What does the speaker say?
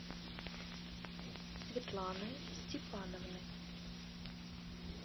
светланой степановной